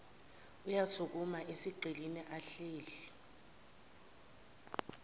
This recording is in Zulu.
uyasukuma esigqikini ahleli